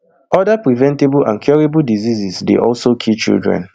oda preventable and curable diseases dey also kill children